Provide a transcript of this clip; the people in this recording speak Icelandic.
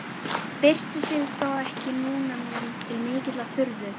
Byrsti sig þó ekki núna mér til mikillar furðu.